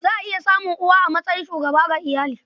Za a iya samun uwa a matsayin shugaba ga iyali.